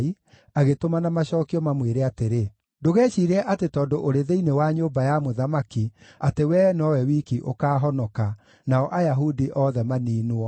agĩtũmana macookio mamwĩre atĩrĩ, “Ndũgeciirie atĩ tondũ ũrĩ thĩinĩ wa nyũmba ya mũthamaki atĩ wee nowe wiki ũkaahonoka, nao Ayahudi othe maniinwo.